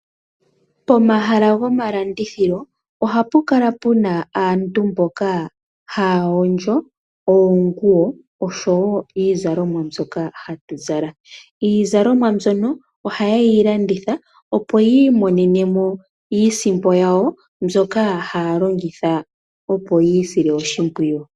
Pomahala gomalandithilo ohapu kala puna aantu mboka haya hondjo oonguwo oshowo iizalomwa mbyoka hatu zala. Iizalomwa mbyono ohaye yi landitha opo yi monene iisimpo yawo mbyoka haya longitha opo ya isile oshimpwiyu.